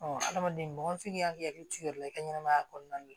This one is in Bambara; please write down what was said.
hadamaden k'i hakili t'i yɛrɛ la i ka ɲɛnamaya kɔnɔna la